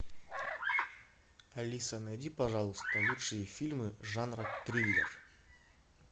алиса найди пожалуйста лучшие фильмы жанра триллер